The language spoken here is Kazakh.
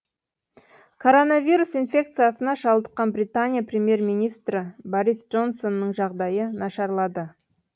коронавирус инфекциясына шалдыққан британия премьер министрі борис джонсонның жағдайы нашарлады